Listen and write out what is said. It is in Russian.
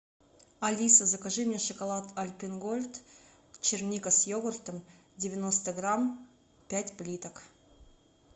алиса закажи мне шоколад альпен гольд черника с йогуртом девяносто грамм пять плиток